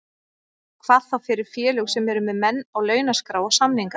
Hvað þá fyrir félög sem eru með menn á launaskrá og samninga.